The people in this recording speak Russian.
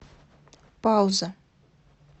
пауза